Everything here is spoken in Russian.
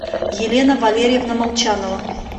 елена валерьевна молчанова